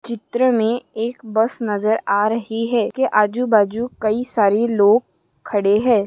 चित्र मे एक बस नजर आ रही है। के आजू बाजू कई सारे लोग खड़े हैं।